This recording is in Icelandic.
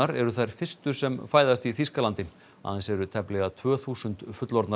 eru þær fyrstu sem fæðast í Þýskalandi aðeins eru tæplega tvö þúsund fullorðnar